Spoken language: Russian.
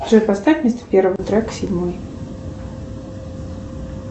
джой поставь вместо первого трека седьмой